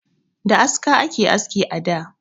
Da aska ake aski a da